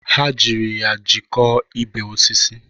Ha jiri ya jikọọ ibe osisi.